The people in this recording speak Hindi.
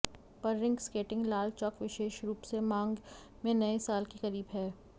पर रिंक स्केटिंग लाल चौक विशेष रूप से मांग में नए साल के करीब है